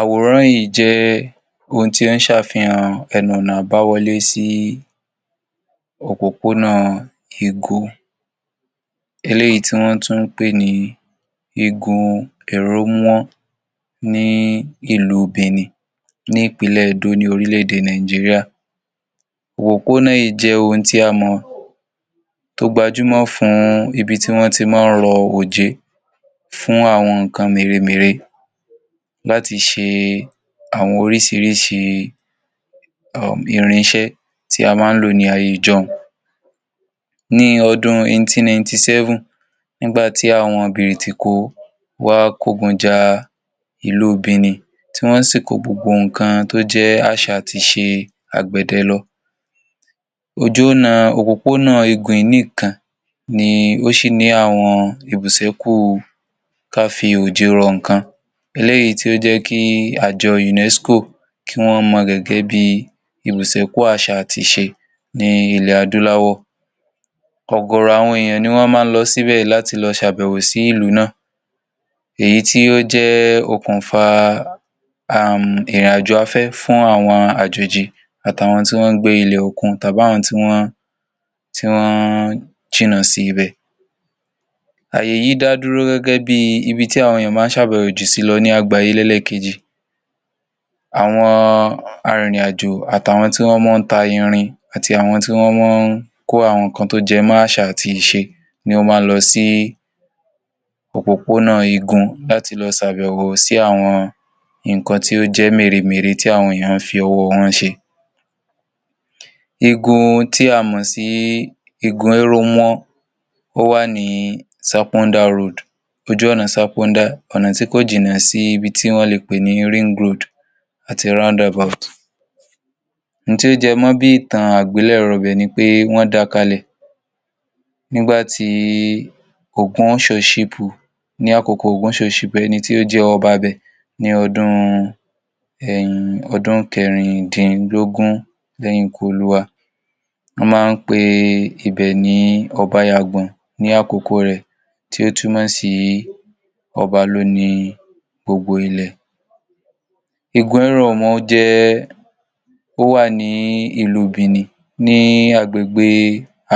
Àwòrán yìí jẹ́ ohun tí ó ṣe àfihàn ẹnu-ọ̀nà àbáwọlé sí opópónà Ìgún, èyí tí wọ́n tún ń pè ní Ìgún Ẹ̀rọwọ̀n ní ìlú Benin ní ìpínlẹ̀ Edo ní orílẹ̀-èdè Nàìjíríà. Opópónà yìí jẹ́ ibi tí a mọ̀ gẹ́gẹ́ bí ọ̀nà gbajúmọ̀ fún ibi tí wọ́n ti ń rò òjé fún àwọn nkan méremére láti ṣe oríṣìíríṣìí irin-ìṣé tí a máa ń lò ní ayé. Ní ọdún ẹgbẹ̀rin lélọ́gọ́rin àti méje, nígbà tí àwọn Bírítíko wá kó ogun já ìlú Benin, wọ́n sì kó gbogbo ohun tó jẹ́ àṣà àti iṣẹ́ agbẹ̀dẹ lọ. Òjú ọ̀nà opópónà Ìgún nikan ni ó ṣì ṣèṣé kí àwọn ìbùsẹ̀kù ká fi òjé rò nkan. Èyí ló mú kí ajọ UNESCO ki wọn mo gẹ́gẹ́ bí ìbùsẹ̀kù àṣà àti iṣẹ́ ènìyàn ilẹ̀ Aduláwọ̀. Ògòrò àwọn ènìyàn ni wọ́n máa ń lọ síbẹ̀ láti lọ ṣe àbẹ̀wò sí ìlú náà. Èyí tì ó jẹ́ òkùnfà irin-àjò àfẹ́ fún àwọn ajọjì àti àwọn tí wọ́n gbé ilẹ̀ òkun tàbí àwọn tí wọ́n jìnnà síbẹ̀. Ayé yìí dà dúró gẹ́gẹ́ bí ibi tí àwọn ènìyàn máa ń ṣe àbẹ̀wò sí jùlọ lágbàáyé lẹ́yìn àwọn arin irin-àjò, àti àwọn tí wọ́n máa ń tà irin, àti àwọn tí wọ́n jẹ́ amọ̀jútó iṣẹ́ àṣà àti àjàkálẹ̀ iṣẹ́ ọwọ́. Wọ́n máa ń lọ sí opópónà Ìgún láti lọ ṣe àbẹ̀wò sí àwọn nkan tó jẹ́ méremére tí àwọn ènìyàn fi ọwọ́ wọn ṣe. Ìgún tí a mọ̀ sí Ìgún Ẹ̀rọwọ̀n wà ní Sàpọ̀ndà Road, ojú ọ̀nà Sàpọ̀ndà, ọ̀nà tí kò jìnà sí ibi tí wọ́n lè pè ní Ring Road àti Roundabout. Òun tí ó jẹ́ mọ̀ bí ìtàn àgbẹ̀lérò bẹ́ẹ̀ ni pé wọ́n dá a kalẹ̀ nígbà OgúnoShọ́ṣípù, ní àkókò OgúnoShọ́ṣípù, ẹni tí ó jẹ́ ọba ibẹ̀ ní ọdún kẹrìndínlógún lẹ́yìn ikú olúwa. Wọ́n máa ń pè ibẹ̀ ní Obàyàgbón ní àkókò rẹ̀ tí ó tún mosi ọba lónìí. Gbogbo ilé. Ìgún Ẹ̀rọwọ̀n jẹ́ ọ̀wà ní ìlú Benin ní agbègbè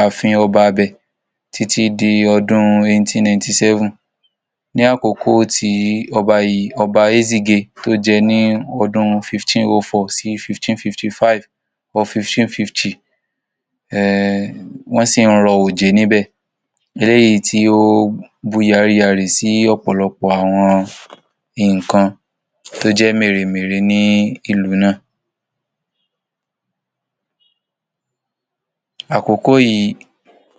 àfìn ọba níbẹ̀ títí di ọdún ẹgbẹ̀rin lélọ́gọ́rin àti méje. Ní àkókò ọba yìí, Ọba Ẹsigie, tí ó jẹ́ láàárin ọdún ẹgbẹ̀rin lélọ́gọ́rin àti márùn-ún sí ẹgbẹ̀rin lélọ́gọ́rin àádọ́rin tàbí ẹgbẹ̀rin lélọ́gọ́rin àádọ́rin, wọ́n sì ń rò òjé níbẹ̀, èyí tí ó bù yáríyárí sí ọ̀pọ̀lọpọ̀ àwọn nkan tí ó jẹ́ méremére ní ìlú náà ní àkókò yìí.